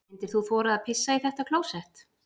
Myndir þú þora að pissa í þetta klósett?